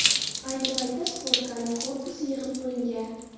Ayni paytda sportkarning korpusi yig‘ib bo‘lingan.